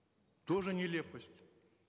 тоже нелепость